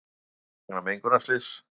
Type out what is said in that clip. Flýja vegna mengunarslyss